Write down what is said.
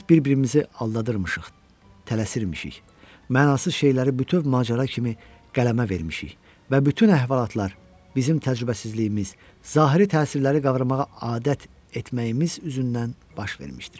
Biz bir-birimizi aldadırmışıq, tələsirmışıq, mənasız şeyləri bütöv macəra kimi qələmə vermişik və bütün əhvalatlar bizim təcrübəsizliyimiz, zahiri təsirləri qavramağa adət etməyimiz üzündən baş vermişdir.